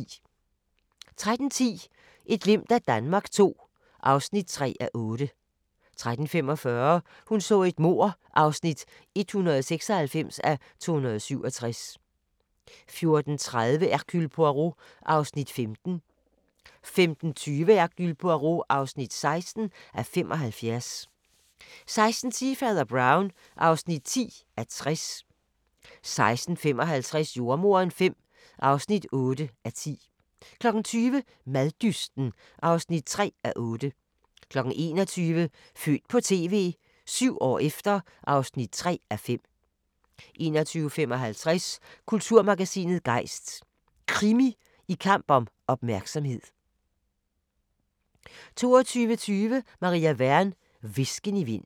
13:10: Et glimt af Danmark II (3:8) 13:45: Hun så et mord (196:267) 14:30: Hercule Poirot (15:75) 15:20: Hercule Poirot (16:75) 16:10: Fader Brown (10:60) 16:55: Jordemoderen V (8:10) 20:00: Maddysten (3:8) 21:00: Født på TV - 7 år efter (3:5) 21:55: Kulturmagasinet Gejst: Krimi i kamp om opmærksomhed 22:20: Maria Wern: Hvisken i vinden